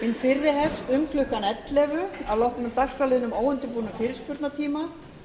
fyrri hefst um klukkan ellefu að loknum dagskrárliðnum óundirbúnum fyrirspurnatíma